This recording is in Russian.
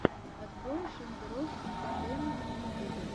открой шендерофф интэртэйнмэнт в ютубе